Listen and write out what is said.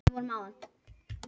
Dekkin endist örskammt